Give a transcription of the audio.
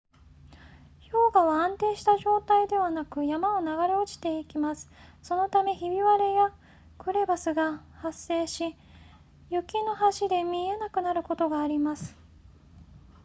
氷河は安定した状態ではなく山を流れ落ちていきますそのためひび割れやクレバスが発生し雪の橋で見えなくなることがあります